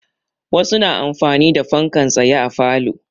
Wasu na amfani da fankan tsaye a falo.